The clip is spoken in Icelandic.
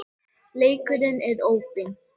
Leikurinn er opinn